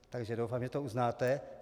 Takže doufám, že to uznáte.